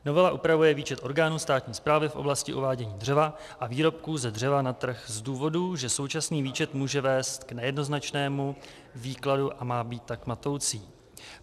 Novela upravuje výčet orgánů státní správy v oblasti uvádění dřeva a výrobků ze dřeva na trh z důvodů, že současný výčet může vést k nejednoznačnému výkladu a má být tak matoucí.